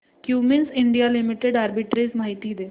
Cummins India limited arbitrage माहिती दे